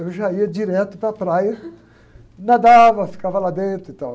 Eu já ia direto para a praia, nadava, ficava lá dentro e tal.